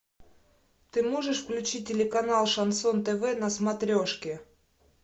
ты можешь включить телеканал шансон тв на смотрешке